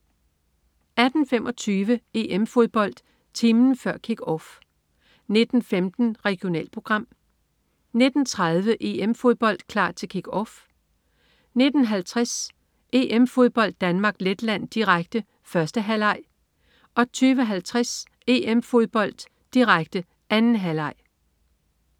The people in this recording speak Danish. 18.25 EM-Fodbold: Timen før Kick-Off 19.15 Regionalprogram 19.30 EM-Fodbold: Klar til Kick-Off 19.50 EM-Fodbold: Danmark-Letland, direkte. 1. halvleg 20.50 EM-Fodbold: Danmark-Letland, direkte. 2. halvleg